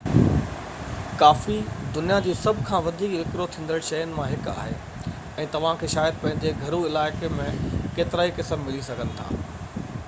ڪافي دنيا جي سڀ کان وڌيڪ وڪرو ٿيندڙ شين مان هڪ آهي ۽ توهانکي شايد پنهنجي گهرو علائقي ۾ ڪيترائي قسم ملي سگهن ٿا